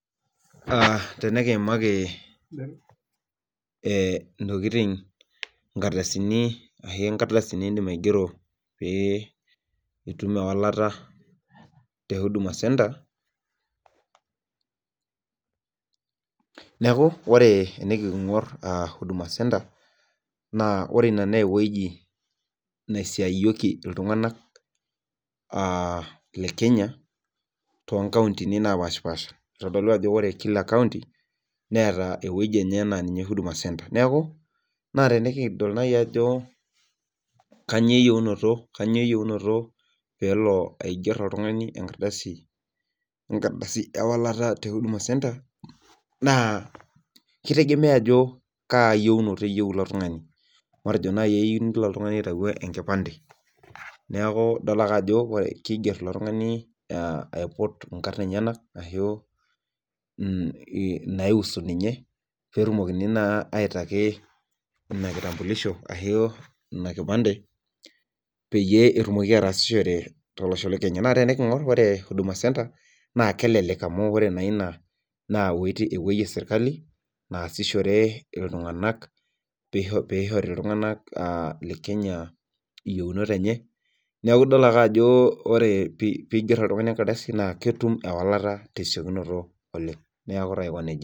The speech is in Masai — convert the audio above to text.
Tenikiimaki, ee intokitin inkardasini,,ketii enkardasi nidim aigero pee itum ewalata, te huduma centre. neeku nikigor huduma centre, na ore Ina naa ewueji nisiayioki iltunganak aa, Ile Kenya. too nkauntini naapashipaasha. itodolu ajo ore Kila kaunti neeta ewueji enye naa ninye huduma centre neeku, naa tenikidol naaji ajo, kainyioo eyieunoto, peelo aiger oltungani enkardasi ewalata te huduma centre .naa kitegemea ajo kaayieunotp eyieu ilo tungani. matejo naaji eyieu ilo tungani nelo aitayu enkipande. neeku, idol ake ajo kiger oltungani, aiput inkarn enyenak ajo, naiusu ninye peetumokini naa itaki Ina kipande pee etumoki ataasishore. naa tenikingor ore huduma centre, naa kelelek amu ore enoshi naa iwuejitin epuoi esirkali. naasishore iltunganak. pes ishori, iltunganak le Kenya iyieunot enye. neeku idol ake ajo ore pee iger oltungani enkardasi netum ewalata tesiokinoto Oleng